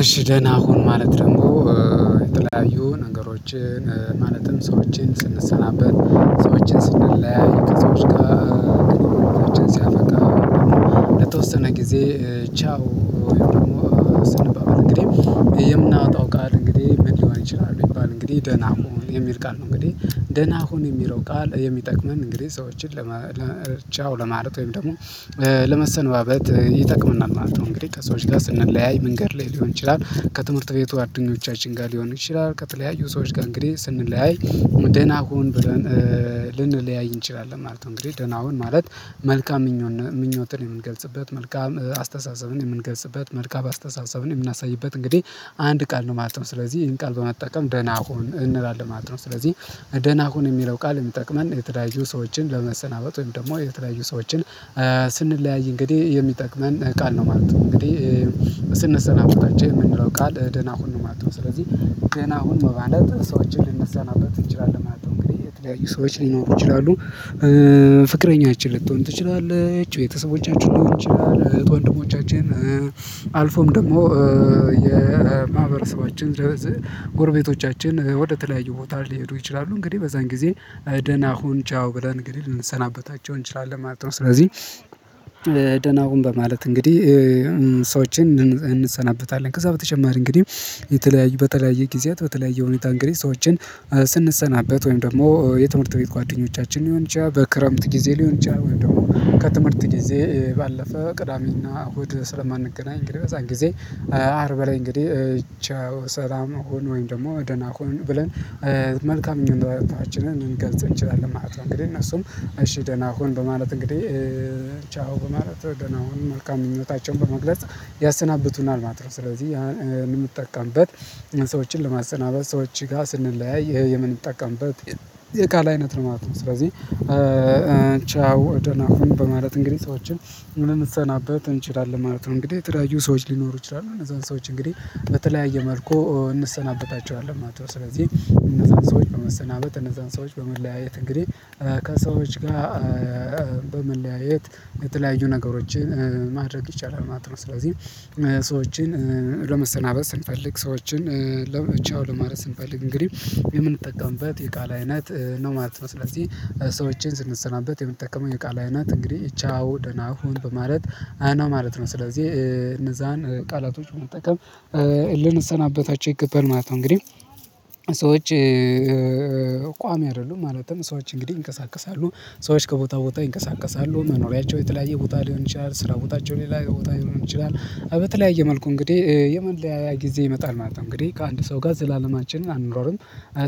እሺ ደህና ሁን ማለት ደግሞ የተለያዩ ነገሮችን ማለትም ሰዎችን ስንሰናበት ሰዎችን ስንለያይ ከሰዎች ጋር ሰዎች ሲያፈቃ ደግሞ ለተወሰነ ጊዜ ቻው ደግሞ ስንባባል እንግዲህ የምናወጣው ቃል እንግዲህ ምን ሊሆን ይችላል ቢባል እንግዲህ ደህና ሁን የሚል ቃል ነው። እንግዲህ ደህና ሁን የሚለው ቃል የሚጠቅመን እንግዲህ ሰዎችን ቻው ለማለት ወይም ደግሞ ለመሰነባበት ይጠቅመናል ማለት ነው። እንግዲህ ከሰዎች ጋር ስንለያይ መንገድ ላይ ሊሆን ይችላል ከትምህርት ቤቱ ጓደኞቻችን ጋር ሊሆን ይችላል ከተለያዩ ሰዎች ጋር እንግዲህ ስንለያይ ደና ሁን ብለን ልንለያይ እንችላለን ማለት ነው። እንግዲህ ደና ሁን ማለት መልካም ምኞትን የምንገልጽበት መልካም አስተሳሰብን የምንገልጽበት መልካም አስተሳሰብን የምናሳይበት እንግዲህ አንድ ቃል ነው ማለት ነው። ስለዚህ ይሄን ቃል በመጠቀም ደህና ሁን እንላለን ማለት ነው። ስለዚህ ደህና ሁን የሚለው ቃል የሚጠቅመን የተለያዩ ሰዎችን ለመሰናበት ወይም ደግሞ የተለያዩ ሰዎችን እንግዲህ የሚጠቅመን ቃል ነው ማለት ነው። እንግዲህ ስንሰናበታቸው ቻው የምንለው ቃል ደህና ሁን ማለት ነው። ስለዚህ ደህና ሁን በማለት ሰዎችን ልንሰናበት እንችላለን ማለት ነው። እንግዲህ የተለያዩ ሰዎች ሊኖሩ ይችላሉ ፍቅረኛችን ልትሆን ትችላለች ቤተሰቦቻችን ሊሆኑ ይችላል እህት ወንድሞቻችን አልፎም ደግሞ የማህበረሰባችን ለዚህ ጎርቤቶቻችን ወደ ተለያዩ ቦታ ሊሄዱ ይችላሉ እንግዲህ በዛን ጊዜ ደህና ሁን ቻው ብለን እንግዲህ ልንሰናበታቸው እንችላለን ማለት ነው። ስለዚህ ደናሁን በማለት እንግዲህ ሰዎችን እንሰናበታለን። ከዛ በተጨማሪ እንግዲህ የተለያዩ በተለያየ ጊዜያት በተለያየ ሁኔታ እንግዲህ ሰዎችን ስንሰናበት ወይም ደግሞ የትምህርት ቤት ጓደኞቻችን ሊሆን በክረምት ጊዜ ሊሆን ወይም ደግሞ ጊዜ ባለፈ ቅዳሜና እሁድ ስለማንገናኝ እንግዲህ በዛን ጊዜ አርብ ላይ እንግዲህ ቻው ሰላም ሁን ወይም ደግሞ ደህና ሆኑ ብለን መልካም ምኞታችን ልንገልጽ እንችላለን ማለት ነው። እንግዲህ እነሱም እሺ ደህና ሁን በማለት እንግዲህ ቻው በማለት ደህና ሁን መልካም ምኞታቸውን በመግለጽ ያሰናብቱናል ማለት ነው። ስለዚህ ያ የምንጠቀምበት ሰዎችን ለማሰናበት ሰዎች ጋር ስንለያይ ይሄ የምንጠቀምበት የቃል አይነት ነው ማለት ነው። ስለዚህ ቻው ደናሁን በማለት እንግዲህ ሰዎችን ልንሰናበት እንችላለን ማለት ነው። እንግዲህ የተለያዩ ሰዎች ሊኖሩ ይችላሉ እነዛን ሰዎች እንግዲህ በተለያየ መልኩ እንሰናበታቸዋለን ማለት ነው። ስለዚህ እነዛን ሰዎች በመሰናበት እነዛን ሰዎች በመለያየት እንግዲህ ከሰዎች ጋር በመለያየት የተለያዩ ነገሮችን ማድረግ ይቻላል ማለት ነው። ስለዚህ ሰዎችን ለመሰናበት ስንፈልግ ሰዎችን ቻው ለማለት ስንፈልግ እንግዲህ የምንጠቀምበት የቃል አይነት ነው ማለት ነው። ስለዚህ ሰዎችን ስንሰናበት የምንጠቀመው የቃል አይነት እንግዲህ ቻው ደና ሁን በማለት ነው። ስለዚህ እነዛን ቃላቶች መጠቀም ልንሰናበታቸው ይገባል ማለት ነው። እንግዲህ ሰዎች ቋሚ አይደሉም ማለትም ሰዎች እንግዲህ ይንቀሳቀሳሉ ሰዎች ከቦታ ቦታ ይንቀሳቀሳሉ መኖሪያቸው የተለያየ ቦታ ሊሆን ይችላል ስራ ቦታቸው ሌላ ቦታ ሊሆን ይችላል በተለያየ መልኩ እንግዲህ የመለያያ ጊዜ ይመጣል ማለት ነው። እንግዲህ ከአንድ ሰው ጋር ዘላለማችንን አንኖርም።